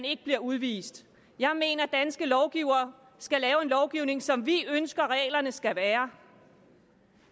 ikke bliver udvist jeg mener at danske lovgivere skal lave en lovgivning som vi ønsker at reglerne skal være